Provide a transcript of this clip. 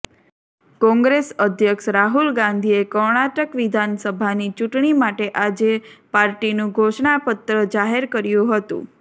કોંગ્રેસ અધ્યક્ષ રાહુલ ગાંધીએ કર્ણાટક વિધાનસભાની ચૂંટણી માટે આજે પાર્ટીનું ધોષણાપત્ર જાહેર કર્યું હતું